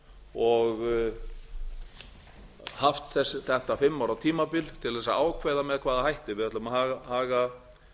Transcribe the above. og haft þetta fimm ára tímabil til þess að ákveða með hvaða hætti við ætlum að haga